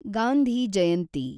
Gandhi Jayanti